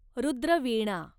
Rudra Veena